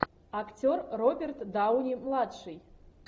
актер роберт дауни младший